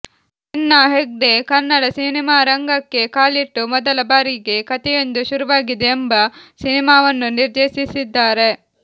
ಸೆನ್ನಾ ಹೆಗ್ಡೆ ಕನ್ನಡ ಸಿನಿಮಾರಂಗಕ್ಕೆ ಕಾಲಿಟ್ಟು ಮೊದಲ ಬಾರಿಗೆ ಕಥೆಯೊಂದು ಶುರುವಾಗಿದೆ ಎಂಬ ಸಿನಿಮಾವನ್ನು ನಿರ್ದೇಶಿಸಿದ್ದಾರೆ